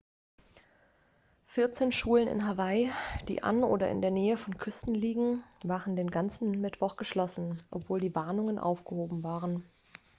vierzehn schulen in hawaii die an oder in der nähe von küsten liegen waren den ganzen mittwoch geschlossen obwohl die warnungen aufgehoben worden waren